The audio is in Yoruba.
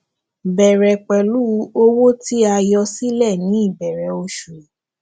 bẹrẹ pẹlú owó tí a yọ sílẹ ní ìbẹrẹ oṣù